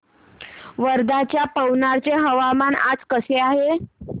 वर्ध्याच्या पवनार चे हवामान आज कसे आहे